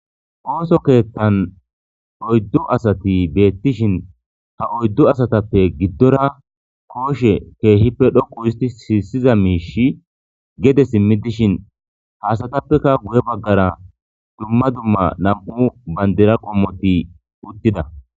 Ooso keethtan oyddu asati beettishin ha oyddu asatappe giddora kooshe keehippe dhoqu uhisti siissiza miishi gede simmi dishin haasatappeka guye baggara dumma dumma nam'u bandira qommoti uttida.